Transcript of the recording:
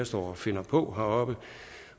står og finder på heroppe